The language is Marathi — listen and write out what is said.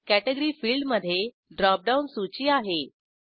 कॅटेगरी फिल्डमधे ड्रॉप डाऊन सूची आहे